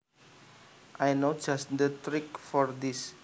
I know just the trick for this